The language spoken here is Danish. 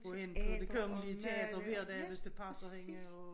Gå ind på Det Kongelige Teater hver dag hvis det passer hende og